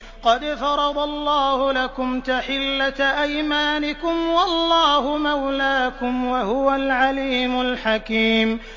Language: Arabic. قَدْ فَرَضَ اللَّهُ لَكُمْ تَحِلَّةَ أَيْمَانِكُمْ ۚ وَاللَّهُ مَوْلَاكُمْ ۖ وَهُوَ الْعَلِيمُ الْحَكِيمُ